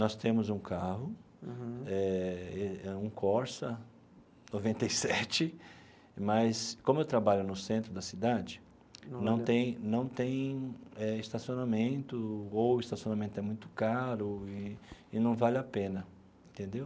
Nós temos um carro, eh um Corsa noventa e sete, mas como eu trabalho no centro da cidade, não tem não tem eh estacionamento, ou o estacionamento é muito caro e e não vale a pena, entendeu?